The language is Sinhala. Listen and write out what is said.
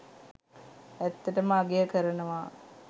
ඇත්තටම අගය කරනවා.